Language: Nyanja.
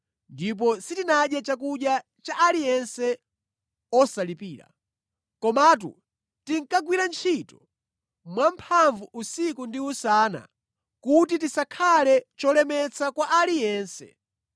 ndipo sitinadye chakudya cha aliyense osalipira. Komatu tinkagwira ntchito mwamphamvu usiku ndi usana kuti tisakhale cholemetsa kwa aliyense.